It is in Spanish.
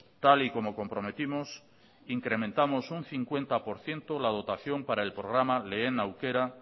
tal y como comprometimos incrementamos un cincuenta por ciento la dotación para el programa lehen aukera